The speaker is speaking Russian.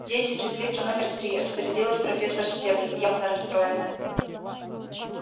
дети теплица номер три распорядилась профессор стебль явно расстроенная